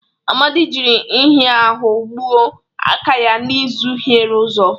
Amadi jiri nhịahụ gbuo aka ya n'ụzọ hiere ụzọ.